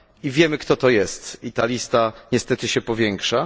Wiemy, kto to jest, i ta lista niestety się powiększa.